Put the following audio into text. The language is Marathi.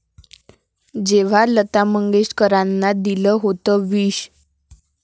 ...जेव्हा लता मंगेशकरांना दिलं होतं विष